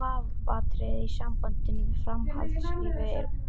Eina vafaatriðið í sambandi við framhaldslíf eru leðurblökur.